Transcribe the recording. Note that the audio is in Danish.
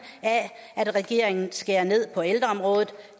af at regeringen skærer ned på ældreområdet